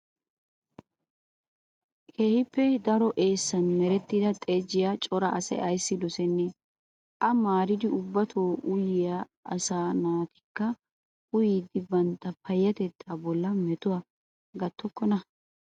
Keehippe daro eessan maarettida xajjiyaa cora asayi ayissi dosennee? A maaridi ubbatu uyiyaa asaa naatikka uyidi bantta payyatetta bollan metuwaa gattokkonaa?